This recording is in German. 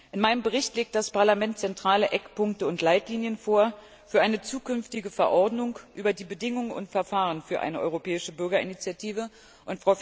In meinem Bericht legt das Parlament zentrale Eckpunkte und Leitlinien für eine zukünftige Verordnung über die Bedingungen und Verfahren für eine europäische Bürgerinitiative vor.